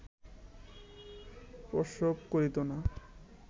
প্রসব করিত না